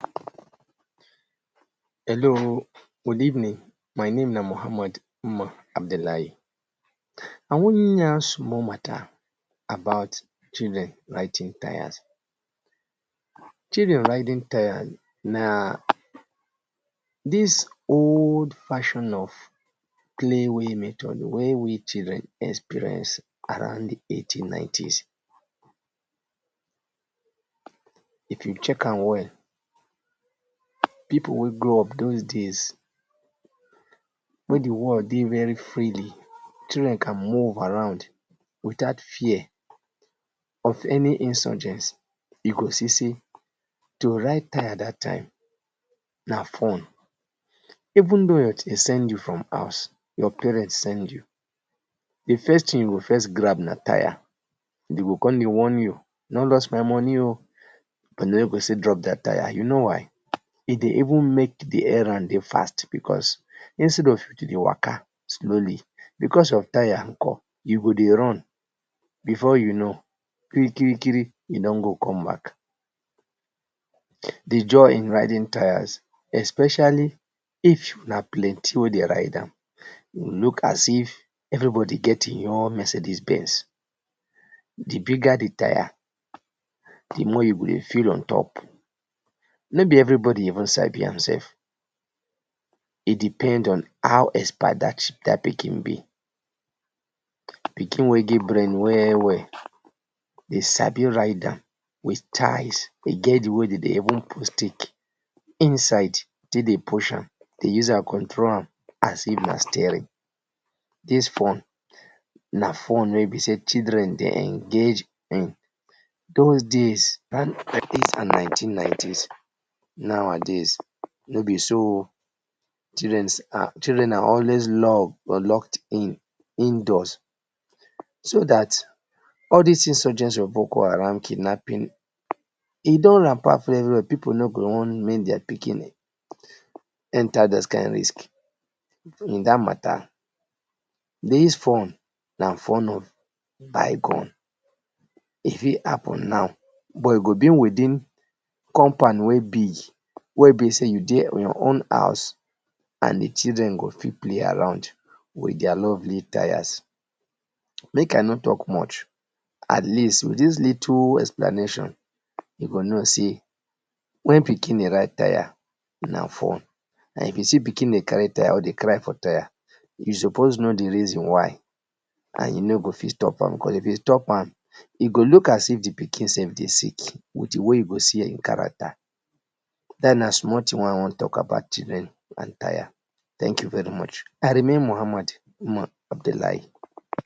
Hello oo, good evening. My name na Muhammed Umar Abdullahi. I wan yarn small matter about children riding tires. Children riding tires na dis old fashion of playing method wey we children experience around de eighteen nineties. If you check am well, people wey grow up those days when de world dey very freely children can move around without fear of any insurgence, you go see sey to ride tire dat tym na fun. Even though dem send you from huz, your parents send you, de first thing you go first grab na tire dem go come dey warn you, no lost my money oo but dem no go still drop de tire, you know why? E dey even make de errand dey fast becos, instead of you to dey waka slowly becos of tire nkor. You go dey run, before you know, kiri kiri kiri, you don go come back. De joy in riding tires especially if una plenty wey dey ride am, e go look as if everybody get him own Mercedes benz. De bigger de tire, de more you go feel on top. No be everybody even sabi am sef, it depends on how expert dat pikin be. Pikin wey get brain well well dey sabi ride with styles, e get where dem de even put sticks inside take dey push am, dey use am control am as if na steering. Dis one na fun wey be sey children dey engage in those days around eighties and nineteen nineties. Nowadays no be so oo, children are always loved but locked in indoors so dat all dis insurgencies of book haram, kidnapping, e don rampant very well people no go want make their pikin enter those kind risks in dat matter, dis fun na fun of bygone, e fit happen now but e go be within compound wey big wey be sey you dey for your own house and de children go fit play around with their lovely tires. Make I no talk much, at least with dis little explanation, you go know sey when pikin dey ride tire na fun, na him be sey if pikin dey carry tire or dey cry for tire you suppose know de reason why and you no go fit stop am cos if you stop am, e go look as if de pikin sef dey sick with de way you go see him character, dat na de small thing wey I wan talk about children and tire, thank you very much. I remain Muhammed Umar Abdullahi.